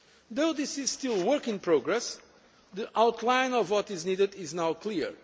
Though this is still work in progress, the outline of what is needed is now clear.